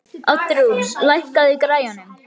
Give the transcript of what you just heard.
Oddrún, lækkaðu í græjunum.